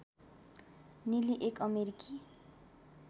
नेली एक अमेरिकी